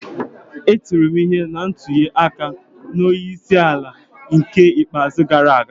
E tiri m ihe na ntuli aka onye isi ala n'ke ikpeazụ gara aga